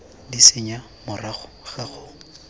d senya morago ga go